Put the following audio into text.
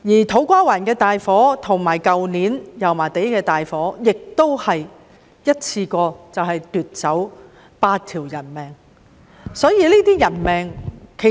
土瓜灣的大火和去年油麻地的大火也一次過奪走了8條人命。